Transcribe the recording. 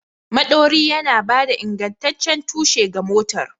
Maɗori yana ba da ingantaccen tushe ga motar.